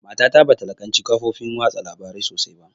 Mata ta bata laƙanci kafofin watsa labarai sosai ba